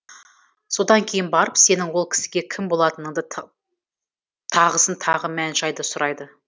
содан кейін барып сенің ол кісіге кім болатыныңды тағысын тағы мән жайды сұрайды